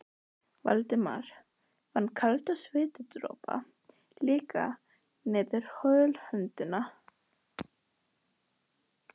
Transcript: Valdimar fann kaldan svitadropa leka niður holhöndina.